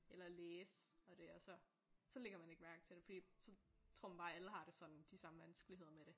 Eller læse og det og så så lægger man ikke mærke til det fordi så tror man bare alle har det sådan de samme vanskeligheder med det